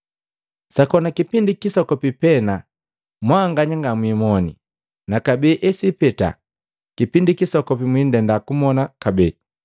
“Sakoni kipindi kisokopi pena mwanganya ngamwimone na kabee esipeta kipindi kisokopi mwindenda kumona kabee.”